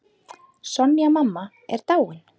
Sonja mamma er dáinn.